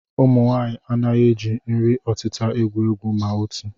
Ụmụnwaanyị anaghị eji nri ọtịta egwu egwu ma otu